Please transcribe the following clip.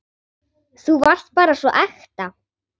Þú varst bara svo ekta.